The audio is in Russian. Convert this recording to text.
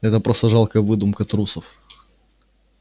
это просто жалкая выдумка трусов